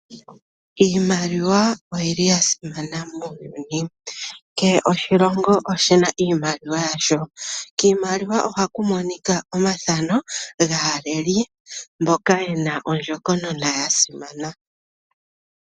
Iimaliwa oya simana muuyuni. Kehe oshilongo oshi na iimaliwa yasho. Kiimaliwa ohaku monika omathano gaaleli mboka ye na ondjokonona ya simana.